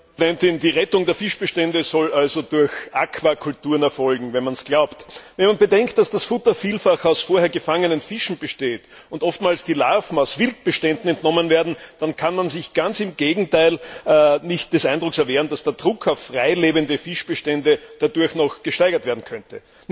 Frau Präsidentin! Die Rettung der Fischbestände soll also durch Aquakulturen erfolgen wenn man es glaubt. Wenn man bedenkt, dass das Futter vielfach aus vorher gefangenen Fischen besteht und oftmals die Larven aus Wildbeständen entnommen werden, dann kann man sich ganz im Gegenteil nicht des Eindrucks erwehren, dass der Druck auf freilebende Fischbestände dadurch noch gesteigert werden könnte.